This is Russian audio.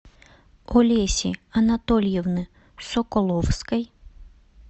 олеси анатольевны соколовской